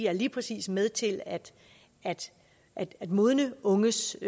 er lige præcis med til at modne unges